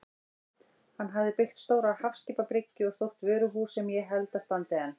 Hann hafði byggt stóra hafskipabryggju og stórt vöruhús sem ég held að standi enn.